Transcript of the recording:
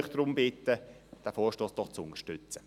Ich bitte Sie deshalb, diesen Vorstoss zu unterstützen.